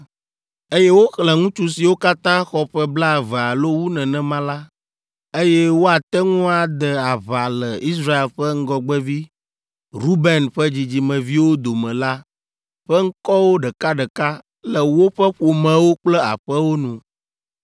Eye woxlẽ ŋutsu siwo katã xɔ ƒe blaeve alo wu nenema la, eye woate ŋu ade aʋa le Israel ƒe ŋgɔgbevi Ruben ƒe dzidzimeviwo dome la ƒe ŋkɔwo ɖekaɖeka le woƒe ƒomewo kple aƒewo nu.